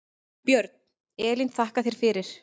Björn: Elín þakka þér fyrir.